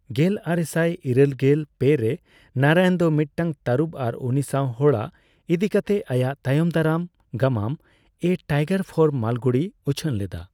ᱜᱮᱞᱟᱨᱮᱥᱟᱭ ᱤᱨᱟᱹᱞᱜᱮᱞ ᱯᱮ ᱨᱮ ᱱᱟᱨᱟᱭᱚᱱ ᱫᱚ ᱢᱤᱫᱴᱟᱝ ᱴᱟᱨᱩᱵᱽ ᱟᱨ ᱩᱱᱤ ᱥᱟᱣ ᱦᱚᱲᱟᱜ ᱤᱫᱤᱠᱟᱛᱮ ᱟᱭᱟᱜ ᱛᱟᱭᱚᱢ ᱫᱟᱨᱟᱢ ᱜᱟᱢᱟᱢ 'ᱟ ᱴᱟᱭᱜᱟᱨ ᱯᱷᱚᱨ ᱢᱟᱞᱜᱩᱲᱤ' ᱩᱪᱷᱟᱹᱱ ᱞᱮᱫᱟ ᱾